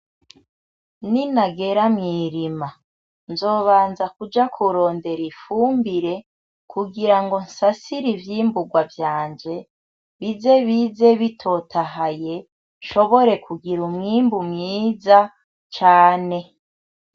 Ninagera mw'irima, nzobanza kuja kurondera ifumbire kugira ngo nsasire ivyimbugwa vyanje, bize bize bitotahaye nshobore kugira umwimbu mwiza cane.